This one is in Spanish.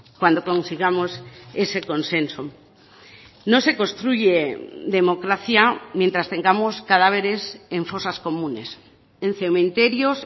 cuando consigamos ese consenso no se construye democracia mientras tengamos cadáveres en fosas comunes en cementerios